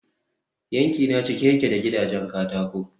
yankina cike yake da gidajen katako